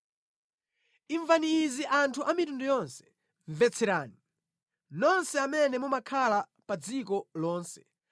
Imvani izi anthu a mitundu yonse; mvetserani, nonse amene mumakhala pa dziko lonse,